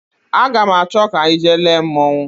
Aga m achọ ka anyị jee lee mmonwu